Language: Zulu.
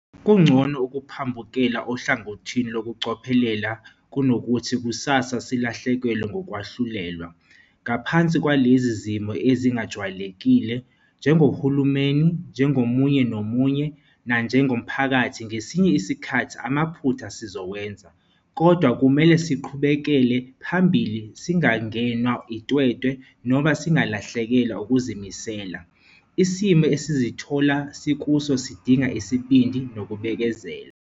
Kungcono ukuphambukela ohlangothini lokucophelela kunokuthi kusasa silahlekelwe ngokwahlulelwa. Ngaphansi kwalezi zimo ezi-ngajwayelekile, njengohulumeni, njengomunye nomunye nanjengomphakathi ngesinye isikhathi amaphutha sizowenza. Kodwa kumele siqhubekele phambili, singangenwa itwetwe noma singalahlekelwa ukuzimisela. Isimo esizithola sikuso sidinga isibindi nokubekezela.